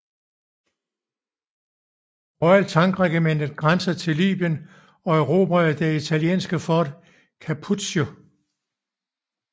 Royal Tank Regiment grænsen til Libyen og erobrede det italienske Fort Capuzzo